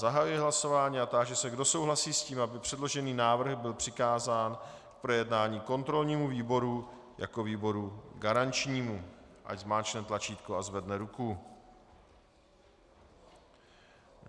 Zahajuji hlasování a táži se, kdo souhlasí s tím, aby předložený návrh byl přikázán k projednání kontrolnímu výboru jako výboru garančnímu, ať zmáčkne tlačítko a zvedne ruku.